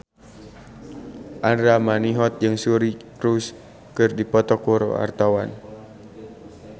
Andra Manihot jeung Suri Cruise keur dipoto ku wartawan